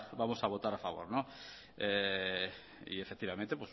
vamos a votar a favor y efectivamente